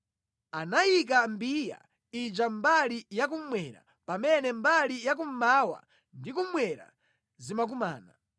Anayika mbiya ija mbali yakummwera pamene mbali ya kummawa ndi kummwera zimakumana.